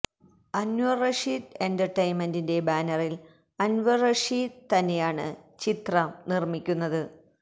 അന്വര് റഷീദ് എന്റര്ടെയ്ന്മെന്റിന്റെ ബാനറില് അന്വര് റഷീദ് തന്നെയാണ് ചിത്രം നിര്മിക്കുന്നത്